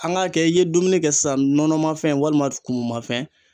An ŋ'a kɛ i ye dumuni kɛ sisan nɔnɔmafɛn walima kumumafɛn